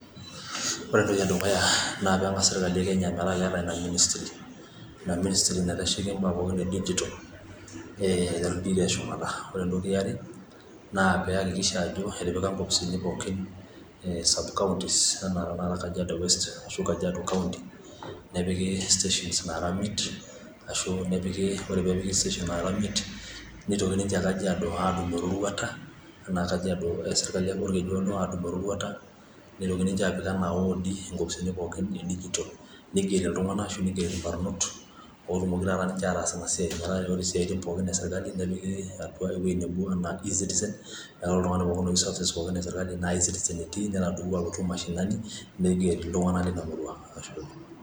Ore entoki edukuya naa peengas serkali ekenya, metaa keeta ina ministry naitasheki nene tokiting pooki edigital. Ore entoki eare neakikisha ajo etipika inkopisini pooki subcounties enaa taata Kajiado nepiki inkopisini naara imiet, neitoki ninche Kajiado adumu eroruata, neitoki ninche aapik iward inkopisini pooki edigital, neigeri ilbarnot ootumoki ataas ina siai, nepiki intokiti pooki E-citicen metaa orentokiti pooki esirkali etii ine teniyieu intkiti pooki esirkali nipik E-Citizen. Ashe oleng